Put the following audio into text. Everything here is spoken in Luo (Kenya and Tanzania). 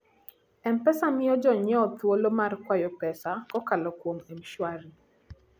M-Pesa miyo jonyiewo thuolo mar kwayo pesa kokalo kuom M-Shwari.